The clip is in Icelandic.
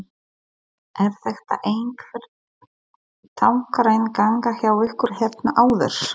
Er þetta einhver táknræn ganga hjá ykkur hérna áður?